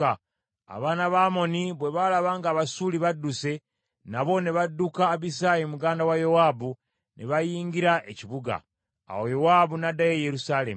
Abaana ba Amoni bwe balaba ng’Abasuuli badduse, nabo ne badduka Abisaayi muganda wa Yowaabu, ne bayingira ekibuga. Awo Yowaabu n’addayo e Yerusaalemi.